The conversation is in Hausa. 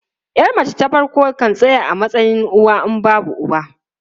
Yar mace ta farko kan tsaya a matsayin uwa in babu uwa.